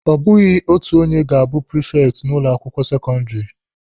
Ọ bụghị otu onye ga-abụ prifekti n'ụlọ akwụkwọ sekọndịrị.